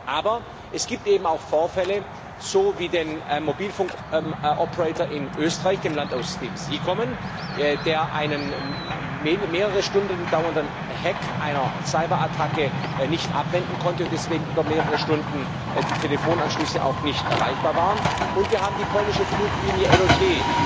Aber es gibt eben auch Vorfälle wie den Mobilfunkbetreiber in Österreich dem Land, aus dem Sie kommen der einen mehrere Stunden dauernden Hack einer Cyberattacke nicht abwenden konnte und wo deswegen über mehrere Stunden die Telefonanschlüsse auch nicht erreichbar waren, und wir haben die polnische Fluglinie LOT